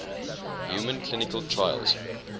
human clinical trials